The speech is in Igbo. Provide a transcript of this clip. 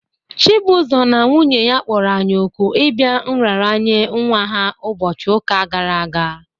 Chibuzo na nwunye ya kpọrọ anyị òkù ịbịa nraranye nwa ha ụbọchị ụka gara aga